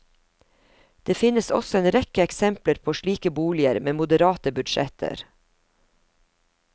Det finnes også en rekke eksempler på slike boliger med moderate budsjetter.